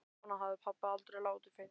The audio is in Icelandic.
Svona hafði pabbi aldrei látið fyrr.